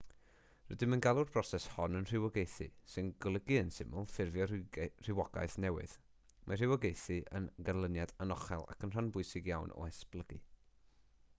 rydym yn galw'r broses hon yn rhywogaethu sy'n golygu yn syml ffurfio rhywogaeth newydd mae rhywogaethu yn ganlyniad anochel ac yn rhan bwysig iawn o esblygu